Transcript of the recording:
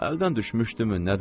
Əldən düşmüşdümü, nədir?